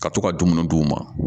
Ka to ka dumuni d'u ma